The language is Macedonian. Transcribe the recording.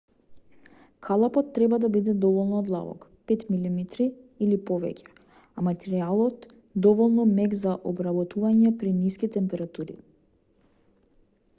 калапот треба да биде доволно длабок 5 мм 1/5 инчи или повеќе а материјалот доволно мек за обработување при ниски температури